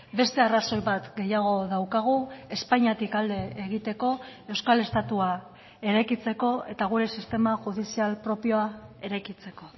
beste arrazoi bat gehiago daukagu espainiatik alde egiteko euskal estatua eraikitzeko eta gure sistema judizial propioa eraikitzeko